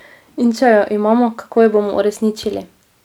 In če jo imamo, kako jo bomo uresničili?